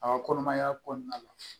A ka kɔnɔmaya kɔnɔna la